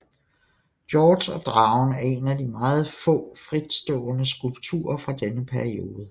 Georg og dragen er en af de meget få fritstående skulpturer fra denne periode